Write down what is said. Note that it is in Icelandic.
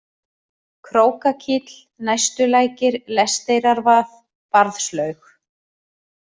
Krókakíll, Næstulækir, Lesteyrrarvað, Barðslaug